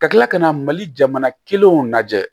Ka kila ka na mali jamana kelenw lajɛ